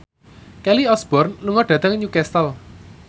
Kelly Osbourne lunga dhateng Newcastle